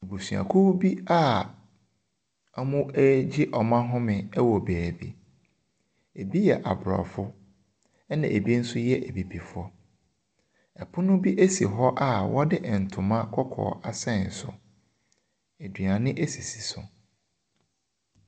Abusuakuo bi a ɔmo ɛgye ɔmo ahome ɛwɔ baabi. Ebi yɛ aborɔfo ɛna ebi nso ɛyɛ abibifoɔ. Ɛpono bi esi hɔ a wɔde ntoma kɔkɔɔ asɛn so. Aduane esisi so.